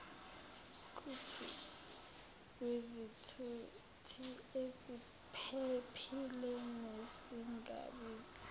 kwizithuthi eziphephile nezingabizi